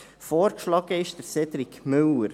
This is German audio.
Vorgeschlagen ist Herr Cédric Müller.